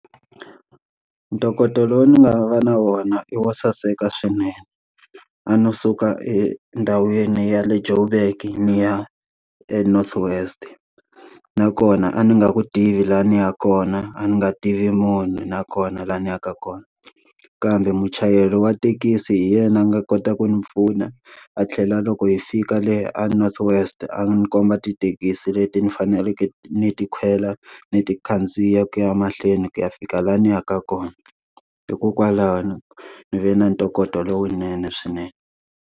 Ntokoto lowu ni nga va na wona i wo saseka swinene. A no suka endhawini ya le Joburg ni ya eNorth West. Nakona a ni nga ku tivi laha a ni ya kona, a ni nga tivi munhu nakona laha ni yaka kona. Kambe muchayeri wa thekisi hi yena a nga kota ku ni pfuna, a tlhela loko hi fika le aNorth West a ni komba tithekisi leti ni faneleke ni ti kwela ni ti khandziya ku ya mahlweni ku ya fika laha ni yaka kona. Hikokwalaho ni ve na ntokoto lowunene swinene.